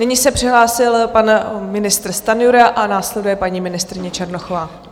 Nyní se přihlásil pan ministr Stanjura a následuje paní ministryně Černochová.